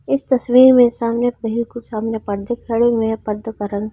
इस तस्वीर में सामने पडदे खड़े हुए है पडदो का रंग --